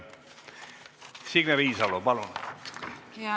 Signe Riisalo, palun!